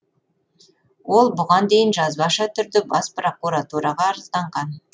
ол бұған дейін жазбаша түрде бас прокуратураға арызданған